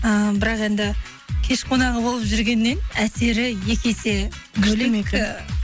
і бірақ енді кеш қонағы болып жүргеннен әсері екі есе